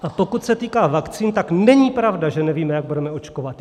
A pokud se týká vakcín, tak není pravda, že nevíme, jak budeme očkovat.